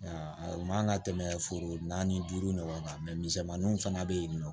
O man kan ka tɛmɛ foro naani duuru ɲɔgɔn kan misɛmaninw fana bɛ yen nɔ